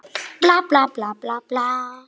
Lög Guðs og manna.